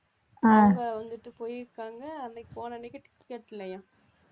அவங்க வந்துட்டு போயிருக்காங்க அன்னைக்கு போன அன்னைக்கு ticket இல்லையாம்